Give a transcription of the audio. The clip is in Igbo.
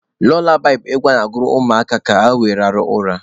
Lulabaị bụ egwu a na-agụrụ ụmụaka ka were rahụọ ụra.